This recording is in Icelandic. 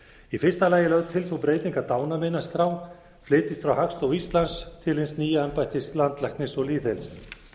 í fyrsta lagi er lögð til sú breyting að dánarmeinaskrá flytjist frá hagstofu íslands til hins nýja embættis landlæknis og lýðheilsu